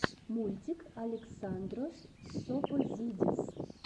мультик александрос тсопозидис